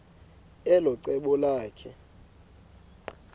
elo cebo lakhe